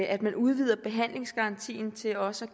at man udvider behandlingsgarantien til også